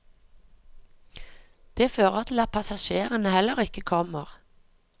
Det fører til at passasjerene heller ikke kommer.